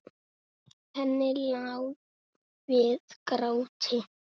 Henni lá við gráti.